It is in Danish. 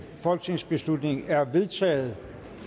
folketingsbeslutning er vedtaget